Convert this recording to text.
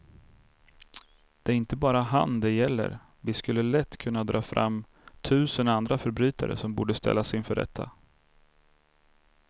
Det är inte bara han det gäller, vi skulle lätt kunna dra fram tusen andra förbrytare som borde ställas inför rätta.